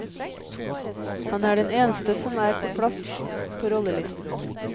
Han er den eneste som er på plass på rollelisten.